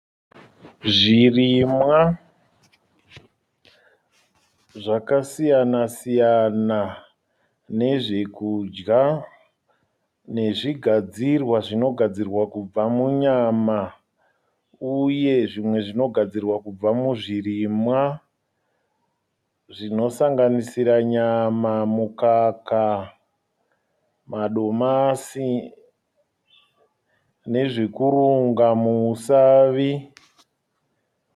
Zvirimwa zvakasiyana siyana nezvekudya nezvigadzirwa zvinogadzirwa kubva munyama uye zvimwe zvinogadzirwa kubva muzvirimwa zvinosanganisira nyama, mukaka, madomasi nezvekurunga muusavi.